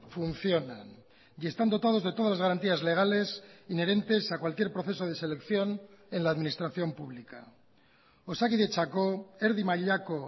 funcionan y están dotados de todas las garantías legales inherentes a cualquier proceso de selección en la administración pública osakidetzako erdi mailako